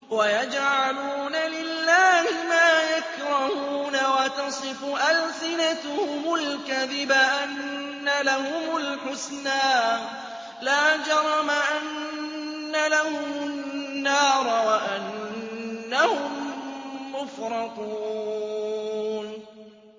وَيَجْعَلُونَ لِلَّهِ مَا يَكْرَهُونَ وَتَصِفُ أَلْسِنَتُهُمُ الْكَذِبَ أَنَّ لَهُمُ الْحُسْنَىٰ ۖ لَا جَرَمَ أَنَّ لَهُمُ النَّارَ وَأَنَّهُم مُّفْرَطُونَ